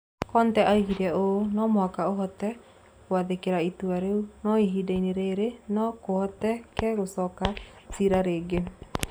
Conte oigire ũũ: "No mũhaka ũhote gwathĩkĩra itua rĩu, no ihinda-inĩ rĩrĩ no kũhoteke tũcokie cira rĩngĩ".